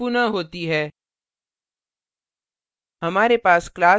यह प्रक्रिया पुनः होती है